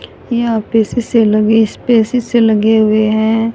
यहा पे सीसे लगे इस पे सीसे लगे हुए है।